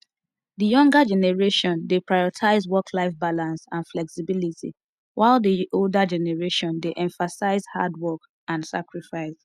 di younger generation dey prioritize worklife balance and flexibility while di older generation dey emphasis hard work and sacrifice